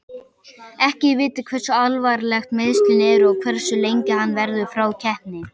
Ekki er vitað hversu alvarleg meiðslin eru og hversu lengi hann verður frá keppni.